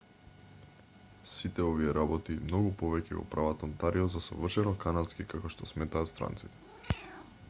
сите овие работи и многу повеќе го прават онтарио за совршено канадски како што сметаат странците